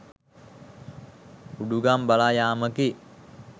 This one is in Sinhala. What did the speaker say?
උඩුගම් බලා යාමකි